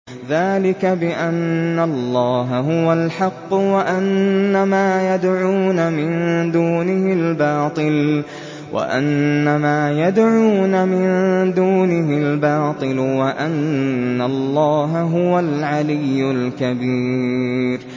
ذَٰلِكَ بِأَنَّ اللَّهَ هُوَ الْحَقُّ وَأَنَّ مَا يَدْعُونَ مِن دُونِهِ الْبَاطِلُ وَأَنَّ اللَّهَ هُوَ الْعَلِيُّ الْكَبِيرُ